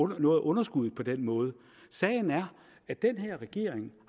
noget af underskuddet på den måde sagen er at den her regering